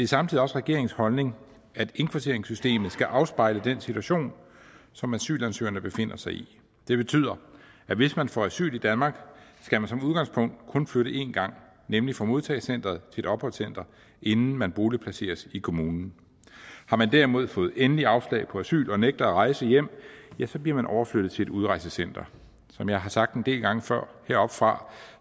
samtidig også regeringens holdning at indkvarteringssystemet skal afspejle den situation som asylansøgerne befinder sig i det betyder at hvis man får asyl i danmark skal man som udgangspunkt kun flytte en gang nemlig fra modtagecenteret et opholdscenter inden man boligplaceres i kommunen har man derimod fået endeligt afslag på asyl og nægter at rejse hjem så bliver man overflyttet til et udrejsecenter som jeg har sagt en del gange før heroppefra